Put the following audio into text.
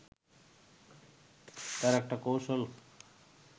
তার একটা কৌশল